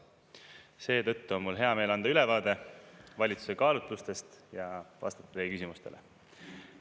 Seetõttu on mul hea meel anda ülevaade valitsuse kaalutlustest ja vastata teie küsimustele.